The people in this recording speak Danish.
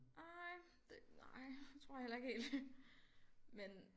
Ej det nej det tror jeg heller ikke helt men